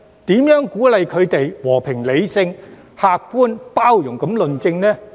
如何鼓勵他們以和平、理性、客觀和包容的態度論政？